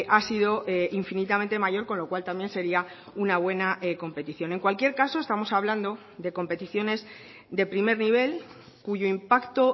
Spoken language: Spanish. ha sido infinitamente mayor con lo cual también sería una buena competición en cualquier caso estamos hablando de competiciones de primer nivel cuyo impacto